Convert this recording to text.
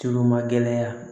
Tulu magɛlɛya